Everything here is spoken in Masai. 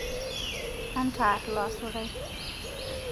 Aantar looasurai